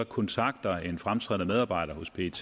kontakter en fremtrædende medarbejder hos pet